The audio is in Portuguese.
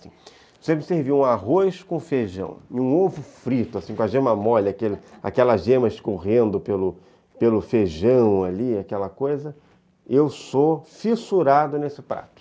Se você me servir um arroz com feijão e um ovo frito, assim, com a gema mole, aquela aquela gema escorrendo pelo pelo feijão ali, aquela coisa, eu sou fissurado nesse prato.